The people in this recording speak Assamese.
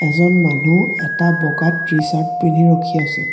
এজন মানুহ এটা বগা টি চাৰ্ত পিন্ধি ৰখি আছে।